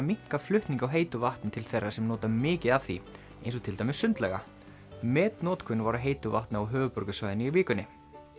minnka flutning á heitu vatni til þeirra sem nota mikið af því eins og til dæmis sundlauga var á heitu vatni á höfuðborgarsvæðinu í vikunni